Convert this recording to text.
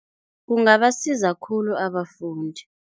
Kungabasiza khulu abafundi.